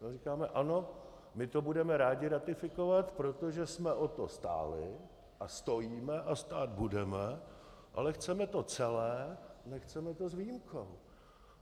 My říkáme: Ano, my to budeme rádi ratifikovat, protože jsme o to stáli a stojíme a stát budeme, ale chceme to celé, nechceme to s výjimkou.